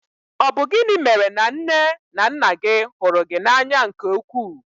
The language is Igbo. Ọ bụ gịnị mèrè na nné na nnà gị hụrụ gị n'anya nke ukwuu?